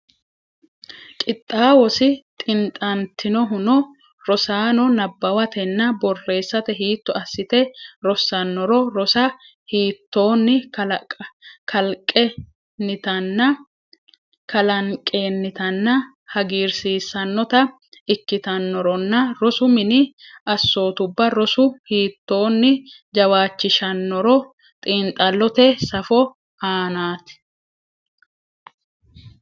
Qixxaawosi xintantinohuno rosaano nabbawatenna borreessate hiitto assite rossannoro rosa hiittoonni kalanqennitanna hagiirsiissannota ikkitannoronna rosu mini assootubba roso hiittoonni jawaachishshannoro xiinxallote safo aanaati.